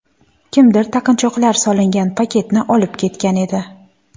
Kimdir taqinchoqlar solingan paketni olib ketgan edi.